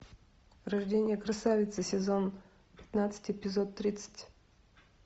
рождение красавицы сезон пятнадцать эпизод тридцать